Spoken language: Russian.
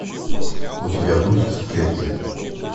у тебя будет в клетке